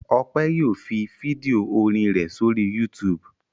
Ọpẹ́ yóò fi fídíò orin rẹ̀ sórí YouTube.